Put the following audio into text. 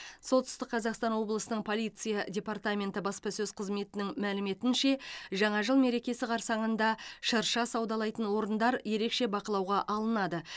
солтүстік қазақстан облысының полиция департаменті баспасөз қызметінің мәліметінше жаңа жыл мерекесі қарсаңында шырша саудалайтын орындар ерекше бақылауға алынады